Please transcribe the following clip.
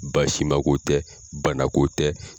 Baasi ma ko tɛ bana ko tɛ.